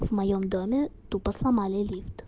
в моём доме тупо сломали лифт